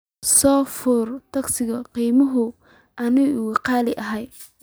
soo furto tagsi qiimihiisu aanu ka qaali ahayn